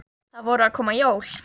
Það voru að koma jól.